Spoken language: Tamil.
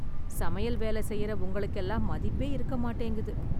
சமையல் வேலை செய்ற உங்களுக்கு எல்லாம் மதிப்பே இருக்க மாட்டேங்குது